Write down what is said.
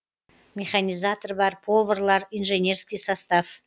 механизатор бар поварлар инженерский состав